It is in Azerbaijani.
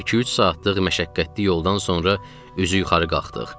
İki-üç saatlıq məşəqqətli yoldan sonra üzü yuxarı qalxdıq.